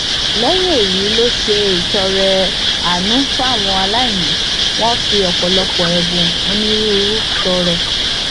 lẹyìn èyí ló ṣe ìtọrẹ àánú fáwọn aláìní wọn fi ọpọlọpọ ẹbùn onírúurú tọrẹ